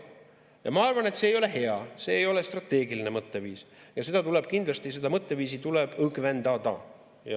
Ja ma arvan, et see ei ole hea, see ei ole strateegiline mõtteviis, ja kindlasti tuleb seda mõtteviisi õgvendada.